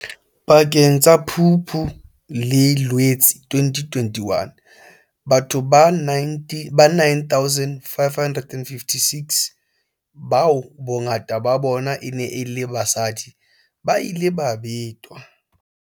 Pakeng tsa Phupu le Loetse 2021, batho ba 9 556, bao bongata ba bona e neng e le basadi, ba ile ba betwa.